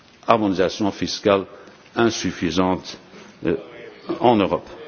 harmonisation fiscale insuffisante en Europe.